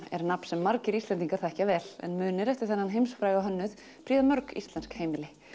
er nafn sem margir Íslendingar þekkja vel en munir eftir þennan heimsfræga hönnuð prýða mörg íslensk heimili